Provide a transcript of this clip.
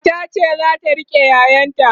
matar ce zata rike ƴaƴan ta